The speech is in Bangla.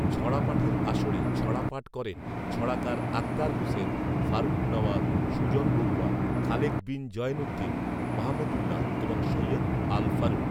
ছড়াপাঠের আসরে ছড়া পাঠ করেন ছড়াকার আখতার হুসেন, ফারুক নওয়াজ, সুজন বড়ূয়া, খালেক বিন জয়েনউদ্দিন, মাহমুদউল্লাহ এবং সৈয়দ আল ফারুক